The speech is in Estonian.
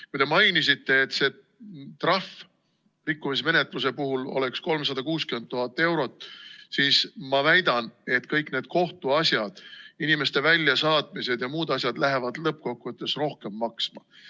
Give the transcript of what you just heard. Kui te mainisite, et trahv rikkumismenetluse puhul oleks 360 000 eurot, siis ma väidan, et kõik need kohtuasjad, inimeste väljasaatmised ja muud asjad lähevad lõppkokkuvõttes rohkem maksma.